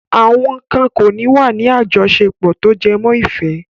Àwọn kan ò ní wà ní àjọṣepọ̀ tó jẹmọ́ ìfẹ́.